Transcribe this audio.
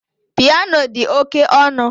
Piano dị oke ọnụ